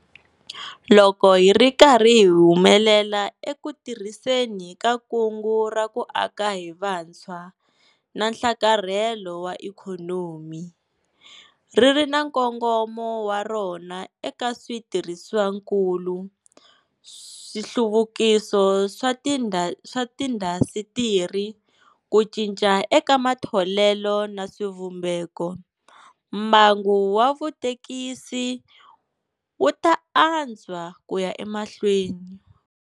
Loko hi ri karhi hi humelela eku tirhiseni ka Kungu ra ku Aka hi Vutshwa na Nhlakarhelo wa Ikhonomi, ri ri na nkongomo wa rona eka switirhisiwakulu, nhluvukiso swa tiindasitiri, ku cinca eka matholelo na swivumbeko, mbangu wa vutekisi wu ta antswa ku ya emahlweni.